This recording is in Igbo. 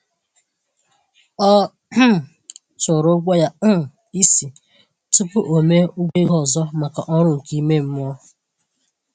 Ọ um tụrụ ụgwọ ya um isi tupu o mee ụgwọ ego ọzọ maka ọrụ nke ime mmụọ.